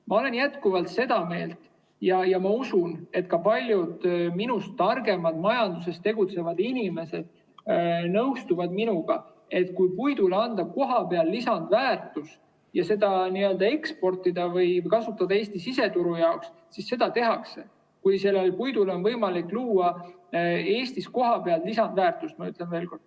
Ma olen jätkuvalt seda meelt, ja ma usun, et ka paljud minust targemad majanduses tegutsevad inimesed nõustuvad minuga, et kui puidule anda kohapeal lisandväärtus ja seda eksportida või kasutada Eesti siseturu jaoks, siis seda ka tehakse, juhul kui puidule on võimalik luua Eestis kohapeal lisandväärtust, ma ütlen veel kord.